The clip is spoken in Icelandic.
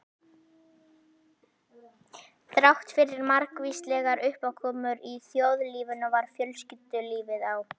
Þráttfyrir margvíslegar uppákomur í þjóðlífinu var fjölskyldulífið á